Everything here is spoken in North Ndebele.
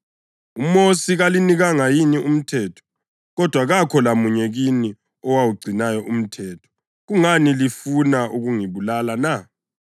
UMosi kalinikanga yini umthetho? Kodwa kakho lamunye kini owugcinayo umthetho. Kungani lifuna ukungibulala na?”